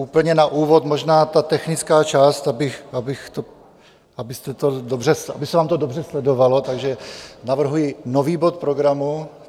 Úplně na úvod možná ta technická část, aby se vám to dobře sledovalo, takže navrhuji nový bod programu.